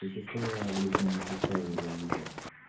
если что я в личный написал его юзер